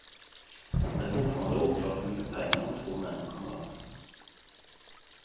Det är fortfarande oklart hur mycket pengar de två männen kom över.